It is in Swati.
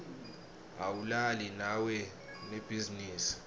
awulali nawunebhizinisi